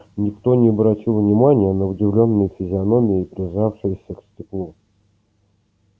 никто не обратил внимания на удивлённые физиономии прижавшиеся к стеклу